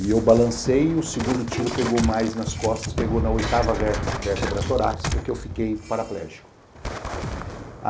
E eu balancei e o segundo tiro pegou mais nas costas, pegou na oitava vértebra torácica, que eu fiquei paraplégico.